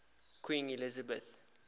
queen elizabeth